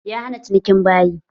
Ya hana cinikin bayi.